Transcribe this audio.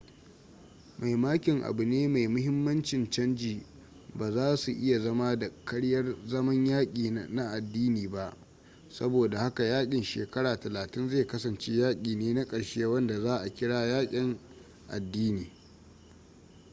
mai makin abu ne mai mahimmancin canji ba za su iya zama da karyar zaman yaki na adini ba sabo da haka yakin shekara talatin zai kasance yaki ne na karshe wanda za a kira yakin adini